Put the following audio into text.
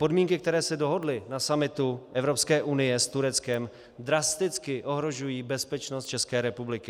Podmínky, které se dohodly na summitu Evropské unie s Tureckem, drasticky ohrožují bezpečnost České republiky.